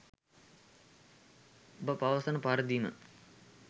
ඔබ පවසන පරිදිම